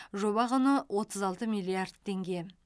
жоба құны отыз алты миллиард теңге